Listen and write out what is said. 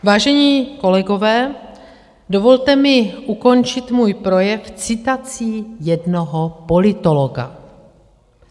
Vážení kolegové, dovolte mi ukončit svůj projev citací jednoho politologa.